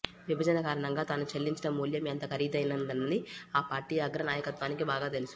విభజన కారణంగా తాను చెల్లించిన మూల్యం ఎంత ఖరీదైనదన్నది ఆ పార్టీ అగ్ర నాయకత్వానికి బాగా తెలుసు